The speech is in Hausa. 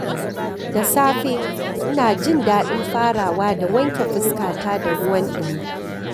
Da safe, ina jin daɗin farawa da wanke fuskata da ruwan dumi.